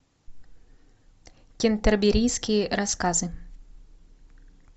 кентерберийские рассказы